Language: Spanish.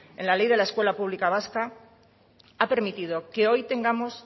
en la ley de la escuela pública vasca ha permitido que hoy tengamos